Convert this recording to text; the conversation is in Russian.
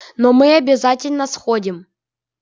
но мы обязательно сходим